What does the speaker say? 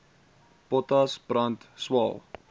potas brand swael